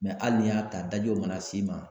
hali n'i y'a ta daji o mana s'i ma